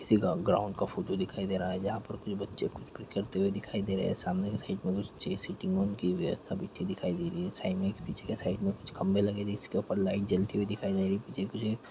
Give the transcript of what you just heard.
किसी का ग्राउंड का फोटो दिखाई दे रहा हैं जहाँ पर कुछ बच्चे कुछ क्रिकेट खेलते दिखाई दे सामने के साइड में एक कुछ छे सिटींग वन की व्यवस्था बैठी हुई दिखाई दे रही हैं साइड में पीछे के एक साइड में कुछ खम्बे लगे जिसके ऊपर लाइट जलती हुई दिखाई दे रही हैं पीछे कुछ--